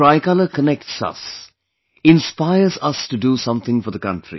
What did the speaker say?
The Tricolor connects us, inspires us to do something for the country